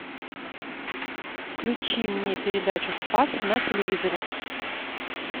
включи мне передачу спас на телевизоре